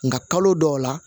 Nka kalo dɔw la